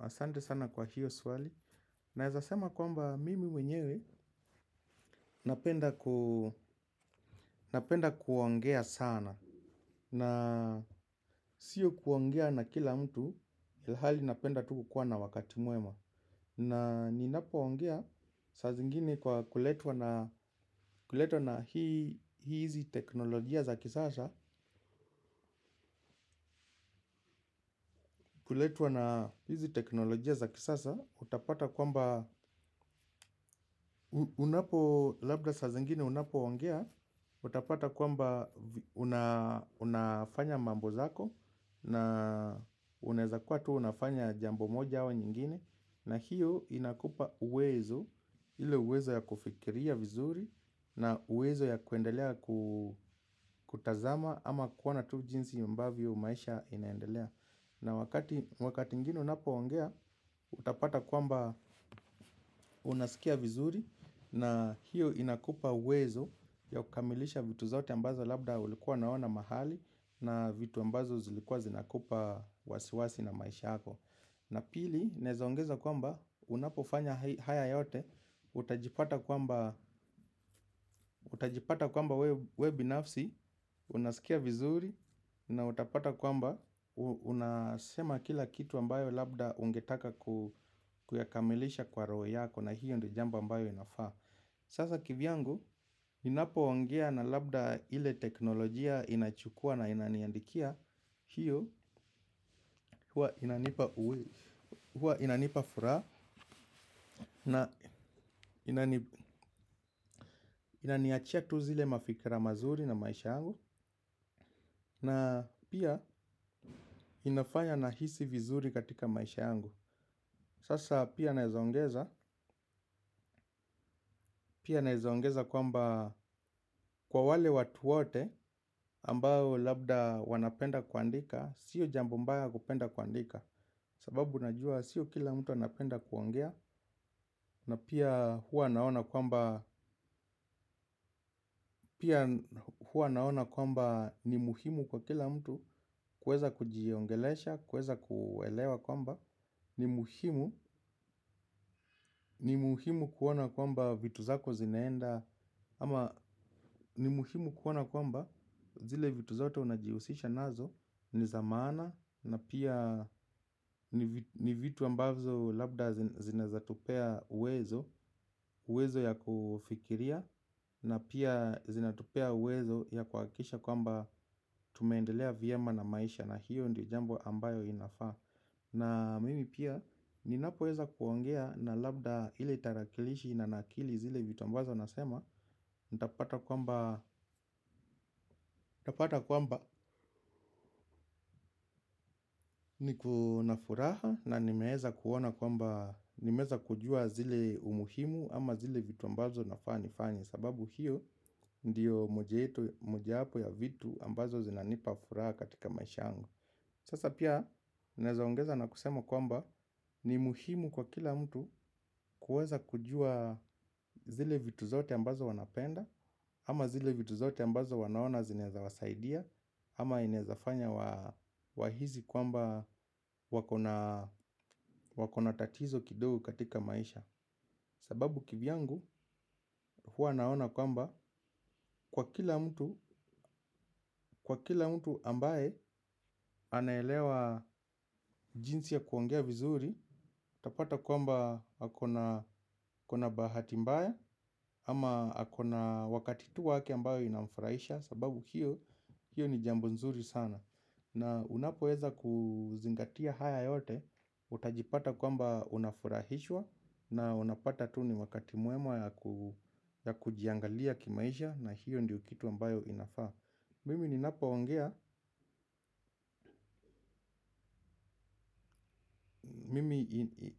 Asante sana kwa hiyo swali. Naweza sema kwamba mimi wenyewe. Napenda kuongea sana na sio kuongea na kila mtu ilhali napenda tu kukuwa na wakati mwema. Na ninapoongea saa zingine kwa kuletwa na kuletwa na hizi teknolojia za kisasa kuletwa na hizi teknolojia za kisasa utapata kwamba unapo labda saa zingine unapoongea utapata kwamba unafanya mambo zako na unaweza kuwa tu unafanya jambo moja au nyingine. Na hiyo inakupa uwezo ile uwezo ya kufikiria vizuri na uwezo ya kuendelea kutazama ama kuona tu jinsi ambavyo maisha inaendelea. Na wakati ingine unapoongea, utapata kwamba unasikia vizuri na hiyo inakupa uwezo ya kukamilisha vitu zote ambazo labda ulikuwa unaona mahali na vitu ambazo zilikuwa zinakupa wasiwasi na maisha yako. Na pili, naeza ongeza kwamba unapofanya haya yote, utajipata kwamba wewe binafsi, unasikia vizuri, na utapata kwamba unasema kila kitu ambayo labda ungetaka kuyakamilisha kwa roho yako na hiyo ndiyo jambo ambayo inafaa. Sasa kivyangu, ninapoongea na labda ile teknolojia inachukua na inaniandikia. Hiyo, huwa inanipa furaha na inaniachia tu zile mafikira mazuri na maisha yangu. Na pia inafanya nahisi vizuri katika maisha yangu. Sasa pia naeza ongeza, pia naeza ongeza kwamba kwa wale watu wote ambao labda wanapenda kuandika. Sio jambo mbaya kupenda kuandika. Sababu najua sio kila mtu anapenda kuongea. Na pia huwa naona kwamba pia huwa naona kwamba ni muhimu kwa kila mtu kuweza kujiongelesha, kuweza kuelewa kwamba ni muhimu kuona kwamba vitu zako zinaenda. Ama ni muhimu kuona kwamba zile vitu zote unajihusisha nazo. Ni za maana na pia ni vitu ambazo labda zinawezatupea uwezo. Uwezo ya kufikiria na pia zinatupea uwezo ya kuhakikisha kwa mba tumeendelea vyema na maisha. Na hiyo ndio jambo ambayo inafaa. Na mimi pia ninapoweza kuongea na labda ile tarakilishi na nakili zile vitu ambazo nasema nitapata kwamba niko na furaha na nimeweza kuona kwamba nimeweza kujua zile umuhimu ama zile vitu ambazo nafaa nifanye sababu hiyo ndiyo mojayetu mojapo ya vitu ambazo zinanipa furaha katika maisha yangu sasa pia naeza ongeza na kusema kwamba ni muhimu kwa kila mtu kuweza kujua zile vitu zote ambazo wanapenda ama zile vitu zote ambazo wanaona zinaweza wasaidia. Ama inaezafanya wahisi kwamba wako na tatizo kidogo katika maisha. Sababu kivyangu huwa naona kwamba kwa kila mtu ambaye anaelewa jinsi ya kuongea vizuri utapata kwamba ako na bahati mbaya ama ako na wakati tu wake ambayo inamfurahisha. Sababu hiyo ni jambo nzuri sana. Na unapoweza kuzingatia haya yote, utajipata kwamba unafurahishwa na unapata tu ni wakati mwewa ya kujiangalia kimaisha na hiyo ndiyo kitu ambayo inafaa. Mimi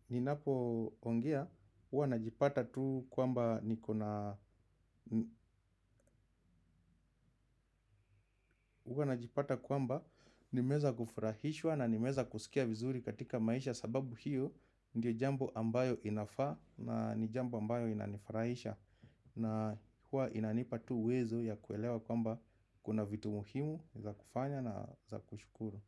ninapoongea huwa najipata tu kwamba nimeweza kufurahishwa na nimeweza kusikia vizuri katika maisha. Sababu hiyo ndio jambo ambayo inafaa na ni jambo ambayo inanifurahisha. Na huwa inanipa tu uwezo ya kuelewa kwamba kuna vitu muhimu za kufanya na za kushukuru.